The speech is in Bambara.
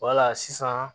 Wala sisan